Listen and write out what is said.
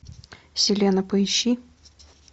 селена поищи